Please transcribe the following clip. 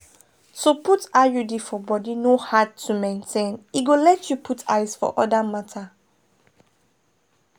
to put iud for body no hard to maintain e go let you put eyes for other matters.